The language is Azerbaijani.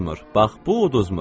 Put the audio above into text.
Bax, bu uduzmur.